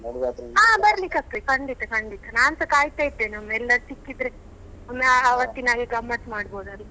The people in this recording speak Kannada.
ಹಾ ಬರ್ಲಿಕ್ಕೆ ಆಗ್ತದೆ ಖಂಡಿತ ಖಂಡಿತ ನಾನ್ಸ ಕಾಯ್ತಾ ಇದ್ದೇನೆ ಒಮ್ಮೆ ಎಲ್ಲರು ಸಿಕ್ಕಿದ್ರೆ ಒಮ್ಮೆ ಆವತ್ತಿನಾಗೆ ಗಮ್ಮತ್ ಮಾಡ್ಬೋದಲ್ಲ.